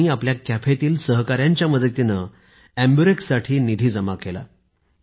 त्यांनी आपल्या कॅफेच्या सहकाऱ्यांच्या मदतीने एम्बुरेक्स साठी निधी जमा केला